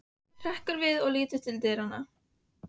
Hrekkur við og lítur til dyranna.